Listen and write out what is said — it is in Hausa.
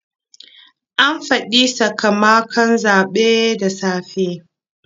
An faɗi sakamakon zaɓen da safe.